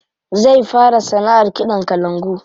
Zai fara sanaʼar kiɗan kalangu.